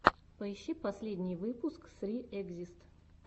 поищи последний выпуск сри экзист